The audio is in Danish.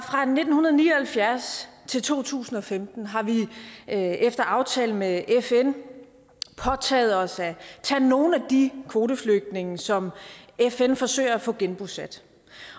nitten ni og halvfjerds til to tusind og femten har vi efter aftale med fn påtaget os at tage nogle af de kvoteflygtninge som fn forsøger at få genbosat